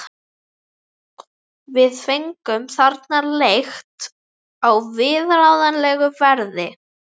Við fengum þarna leigt á viðráðanlegu verði.